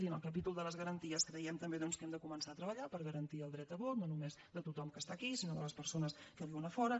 i en el capítol de les garanties creiem també doncs que hem de començar a treballar per garantir el dret a vot no només de tothom que està aquí sinó de les persones que viuen a fora